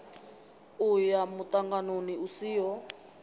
u ya muṱanganoni u siho